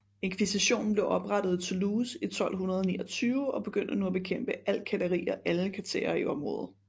Inkvisitionen blev oprettet i Toulouse i 1229 og begyndte nu at bekæmpe al kætteri og alle katherer i området